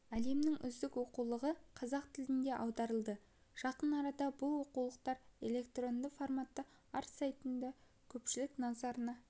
әлемнің үздік оқулығы қазақ тіліне аударылды жақын арада бұл оқулықтар электронды форматта ар сайтында көпшілік назарына